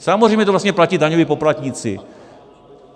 Samozřejmě to vlastně platí daňoví poplatníci.